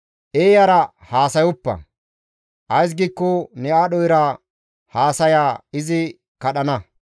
Eeyara haasayoppa; ays giikko ne aadho era haasaya izi kadhana.